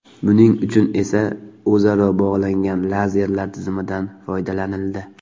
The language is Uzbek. Buning uchun esa o‘zaro bog‘langan lazerlar tizimidan foydalanildi.